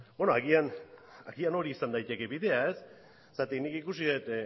bueno agian hori izan daiteke bidea ez zeren nik ikusi dut